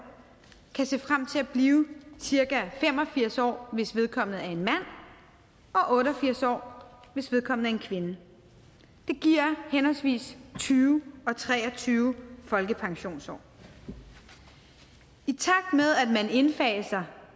kan se frem til at blive cirka fem og firs år hvis vedkommende er en mand og otte og firs år hvis vedkommende er en kvinde det giver henholdsvis tyve og tre og tyve folkepensionsår i takt med at man indfaser